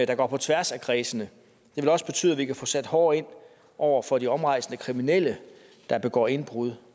der går på tværs af kredsene det vil også betyde at vi kan få sat hårdere ind over for de omrejsende kriminelle der begår indbrud